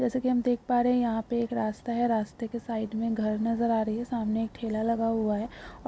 देख पा रहे हैं यहाँ पे रास्ता है | रस्ते के साइड मैं घर नजर आ रही है सामने एक ठेला लगा हुआ है। ओर --